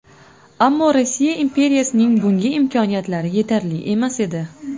Ammo Rossiya imperiyasining bunga imkoniyatlari yetarli emas edi.